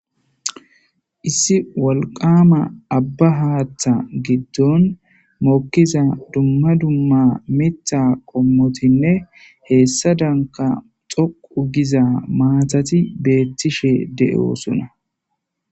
issi wolqama abba haaththa giddon mokkiza dumma dumma mitha qommotinne heessa danka xoqu giza maatati beettishe de7osona